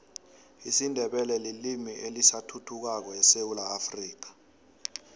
isindebele lilimi elisathuthukako esewula afrika